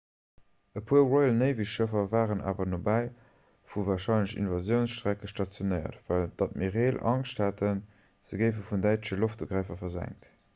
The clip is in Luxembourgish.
e puer royal-navy-schëffer waren awer nobäi vun de warscheinlechen invasiounsstrecke stationéiert well d'admireel angscht haten se géife vun däitsche loftugrëffer versenkt